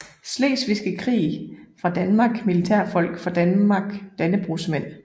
Slesvigske Krig fra Danmark Militærfolk fra Danmark Dannebrogsmænd